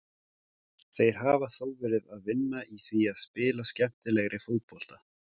Þeir hafa þó verið að vinna í því að spila skemmtilegri fótbolta.